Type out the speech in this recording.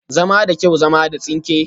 Zama da kyau, zama da tsinke